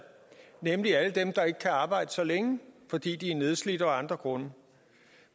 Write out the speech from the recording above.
nemlig alle dem der ikke kan arbejde så længe fordi de er nedslidt og af andre grunde